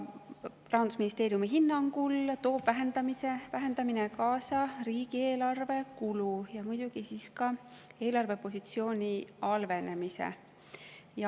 Rahandusministeeriumi hinnangul tooks vähendamine kaasa riigieelarve kulu ja muidugi ka eelarvepositsiooni halvenemise.